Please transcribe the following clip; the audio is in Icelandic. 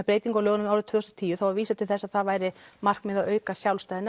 breytingu á lögunum árið tvö þúsund og tíu þá er vísað til þess að það væri markmið að auka sjálfstæði